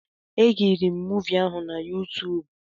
Ekiriri m muuvi ahụ na YuTuub